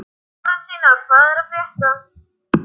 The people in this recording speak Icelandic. Lárensína, hvað er að frétta?